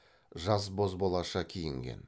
жаз бозбалаша киінген